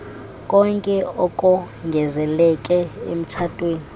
konke okongezeleke emtshatweni